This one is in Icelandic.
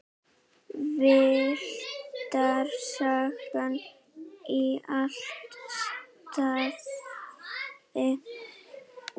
Villtar sagnir í alla staði.